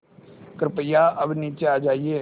कृपया अब नीचे आ जाइये